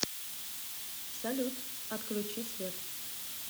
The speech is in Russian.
салют отключи свет